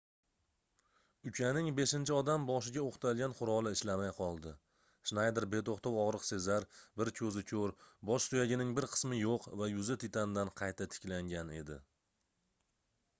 ukaning beshinchi odam boshiga oʻqtalgan quroli ishlamay qoldi shnayder betoʻxtov ogʻriq sezar bir koʻzi koʻr bosh suyagining bir qismi yoʻq va yuzi titandan qayta tiklangan edi